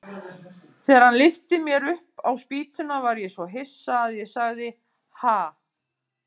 Þegar hann lyfti mér upp á spýtuna var ég svo hissa að ég sagði: Ha?